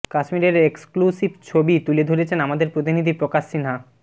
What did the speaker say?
কাশ্মীরের এক্সক্লুসিভ ছবি তুলে ধরেছেন আমাদের প্রতিনিধি প্রকাশ সিনহা